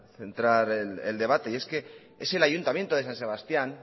centrar el debate y es que es el ayuntamiento de san sebastián